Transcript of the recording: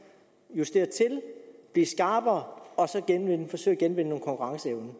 justere blive skarpere og forsøge at genvinde konkurrenceevnen